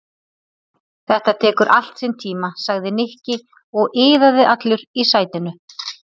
Þetta tekur allt sinn tíma sagði Nikki og iðaði allur í sætinu.